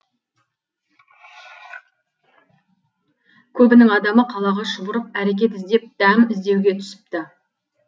көбінің адамы қалаға шұбырып әрекет іздеп дәм іздеуге түсіпті